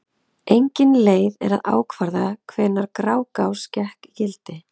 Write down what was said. Engin leið er að ákvarða hvenær Grágás gekk í gildi.